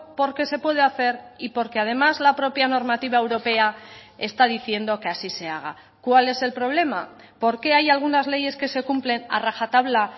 porque se puede hacer y porque además la propia normativa europea está diciendo que así se haga cuál es el problema por qué hay algunas leyes que se cumplen a rajatabla